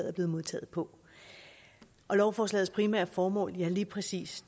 er blevet modtaget på lovforslagets primære formål er lige præcis